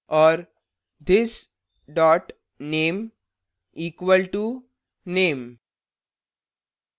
और this dot name equal to name